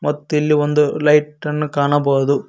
ಮತ್ತಿಲ್ಲಿ ಒಂದು ಲೈಟ್ ಅನ್ನು ಕಾಣಬಹುದು.